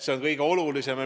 See on kõige olulisem.